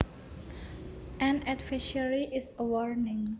An advisory is a warning